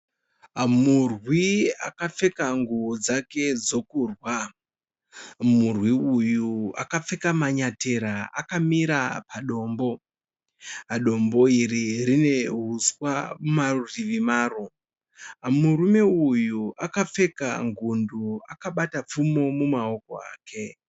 Murwi akapfeka nguwo dzake dzekurwa, murwi uyu akapfeka manyatera mutsoka dzake akamira padombo, dombo iri rine huswa parutivi paro. Murume uyu akapfeka ngundu akabata pfumo mumaoko ake.